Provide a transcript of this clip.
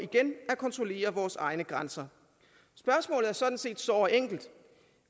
at kontrollere vores egne grænser spørgsmålet er sådan set såre enkelt